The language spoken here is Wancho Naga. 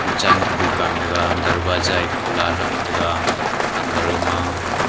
chen pa dukan dega darvaza e khula thram tega under ma.